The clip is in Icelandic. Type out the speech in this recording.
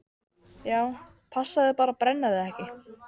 SÓLA: Já, passaðu þig bara að brenna þig ekki!